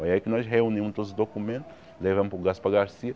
Foi aí que nós reunimos todos os documentos, levamos para o Gaspar Garcia.